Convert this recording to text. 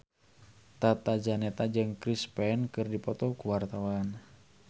Tata Janeta jeung Chris Pane keur dipoto ku wartawan